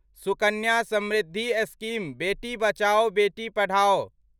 Sukanya Samriddhi scheme बेटी बचाओ बेटी पढ़ाओ